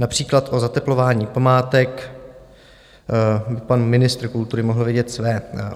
Například o zateplování památek pan ministr kultury mohl vědět své.